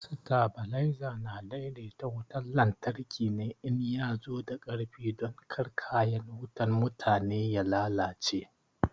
Stabalaiza na daidaita wutan lantarki ne in ya zo da ƙarfi don kar kayan wutan mutane ya lalace.